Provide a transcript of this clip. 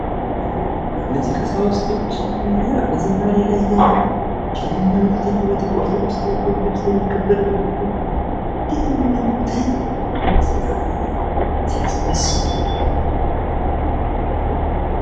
እነዚህ ቀሳውስቶች በዝማሬ ላይ እያሉ እንዴት ነው የሚያምሩት በኢትዮጵያ ኦርቶዶክስ ቤተክርስቲያን የሚከበረው እኮ ነው ። እንዴት ነው የሚያምሩት! አረ በስማም !ሲያስደስቱ